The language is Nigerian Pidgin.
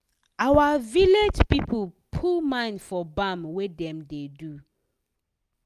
our village people put mind for bam wey dem da do